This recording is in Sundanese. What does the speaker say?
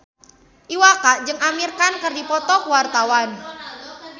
Iwa K jeung Amir Khan keur dipoto ku wartawan